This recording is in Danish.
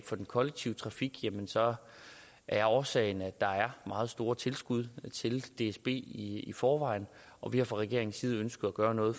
for den kollektive trafik at årsagen er at der er meget store tilskud til dsb i forvejen og vi har fra regeringens side ønsket at gøre noget